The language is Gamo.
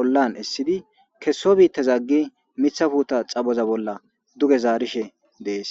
ollan essidi kesso biittazaggi mithafuta xaboza bolla duge zaarishe dees.